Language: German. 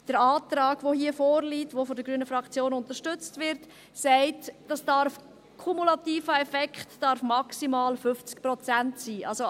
Der Antrag, der hier vorliegt und von der grünen Fraktion unterstützt wird, sagt, dass der kumulative Effekt maximal 50 Prozent sein darf.